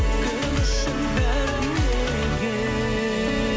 кім үшін бәрі неге